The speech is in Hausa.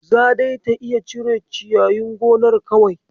Za dai ta iya cire ciyayin gonar kawai.